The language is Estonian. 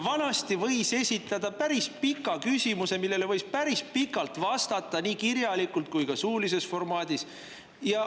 Vanasti võis esitada päris pika küsimuse, millele võis päris pikalt vastata nii kirjalikult kui ka suulises formaadis.